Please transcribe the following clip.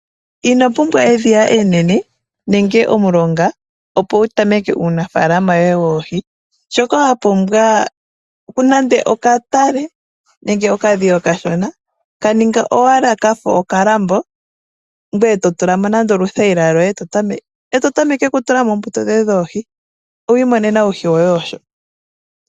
Ino pumbwa edhiya enene nenge omulonga opo wu tameke uunafaalama woye woohi. Shoka wa pumbwa, okatale, nenge okadhiya okashona. Ka ninga owala ka fa okalambo, ngoye to tula mo oothayila, to tameke okutula mo oohi dhoye ngaaka.